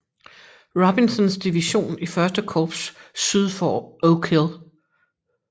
Robinsons division i første korps syd for Oak Hill